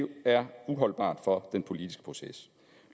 er uholdbart for den politiske proces